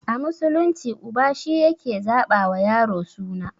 A musulunci uba shi yake zaɓa wa yaro suna